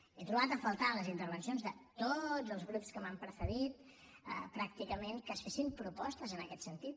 he trobat a faltar en les intervencions de tots els grups que m’han precedit pràcticament que es fessin propostes en aquest sentit